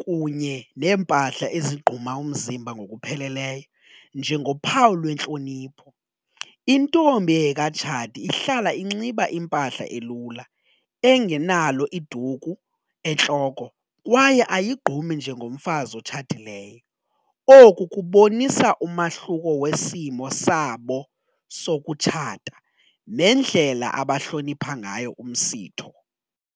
kunye neempahla ezigquma umzimba ngokupheleleyo njengophawu lwentlonipho. Intombi engekatshati ihlala inxiba impahla elula engenalo iduku entloko kwaye ayigqumi njengomfazi otshatileyo. Oku kubonisa umahluko wesimo sabo sokutshata nendlela abahlonipha ngayo umsitho.